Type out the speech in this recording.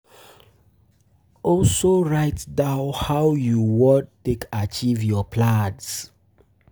Also um write down how you um won take acheive your plans